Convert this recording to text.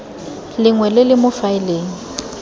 lengwe le le mo faeleng